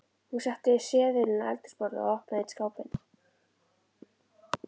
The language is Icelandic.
Hún setti seðilinn á eldhúsborðið og opnaði einn skápinn.